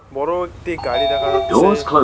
বড় একটি গাড়ি দেখা যাচ্ছে।